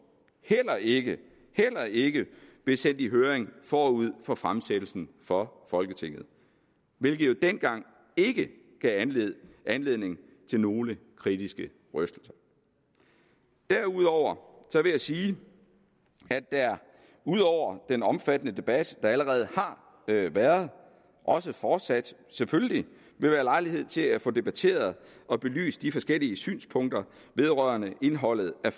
heller ikke heller ikke blev sendt i høring forud for fremsættelsen for folketinget hvilket jo dengang ikke gav anledning til nogen kritiske røster derudover vil jeg sige at der ud over den omfattende debat der allerede har været også fortsat selvfølgelig vil være lejlighed til at få debatteret og belyst de forskellige synspunkter vedrørende indholdet af